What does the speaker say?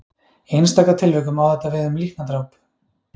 Í einstaka tilvikum á þetta við um líknardráp.